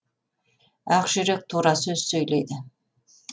ақ жүрек тура сөз сөйлейді